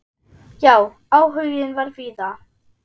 Já, áhuginn var víða.